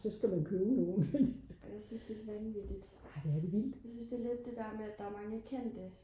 så skal man købe nogle det er lidt vildt